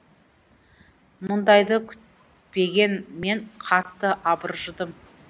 мұндайды күтпеген мен қатты абыржыдым